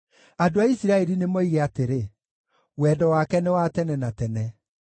Andũ a Isiraeli nĩmoige atĩrĩ, “Wendo wake nĩ wa tene na tene.”